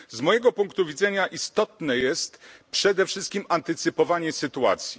Z mojego punktu widzenia istotne jest przede wszystkim antycypowanie sytuacji.